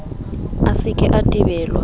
a se ke a tebelwa